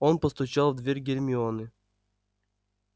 он постучал в дверь гермионы